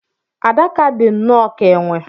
Adaka dị nnọọ ka enwe.